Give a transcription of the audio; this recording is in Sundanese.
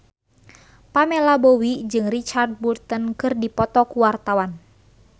Pamela Bowie jeung Richard Burton keur dipoto ku wartawan